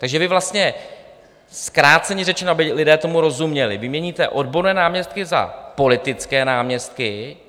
Takže vy vlastně, zkráceně řečeno, aby lidé tomu rozuměli, vyměníte odborné náměstky za politické náměstky.